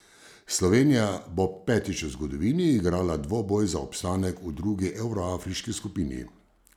Slovenija bo petič v zgodovini igrala dvoboj za obstanek v drugi evroafriški skupini.